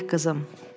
Mələk qızım.